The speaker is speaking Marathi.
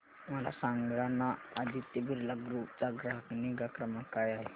मला सांगाना आदित्य बिर्ला ग्रुप चा ग्राहक निगा क्रमांक काय आहे